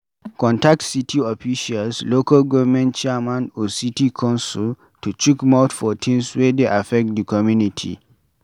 Contact city officials, local government chairman or city council to chook mouth for things wey dey affect di community